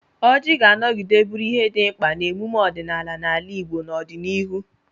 Ọjị ga-anọgide bụrụ ihe dị mkpa n'emume ọdịnala n'ala Igbo n'ọdịnihu: